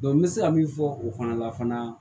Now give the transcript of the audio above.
n bɛ se ka min fɔ o fana la fana